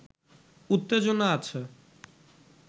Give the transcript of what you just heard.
“উত্তেজনা আছে